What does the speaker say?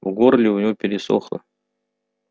в горле у него пересохло